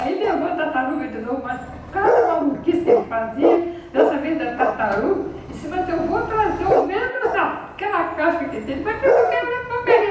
Aí levou a tartaruga de novo, mas cada maluquice que ele fazia, dessa vez da tartaruga, disse, mas eu vou trazer, ao menos, aquela casca que ele teve,